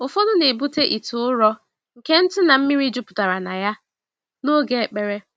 Ụfọdụ na-ebu ite ụrọ nke ntụ na mmiri jupụtara na ya, n'oge ekpere.